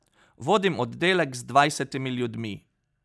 Vodim oddelek z dvajsetimi ljudmi.